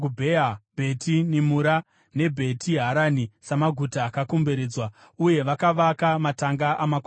Bheti Nimura neBheti Harani samaguta akakomberedzwa, uye vakavaka matanga amakwai avo.